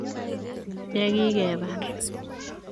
Yegikebar.